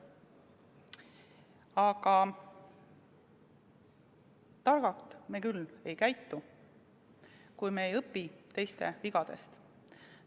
Aga targalt me küll ei käitu, kui me teiste vigadest ei õpi.